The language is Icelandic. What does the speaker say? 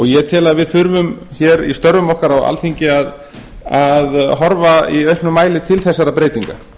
ég tel að við þurfum hér í störfum okkar á alþingi að horfa í auknum mæli til þessara breytinga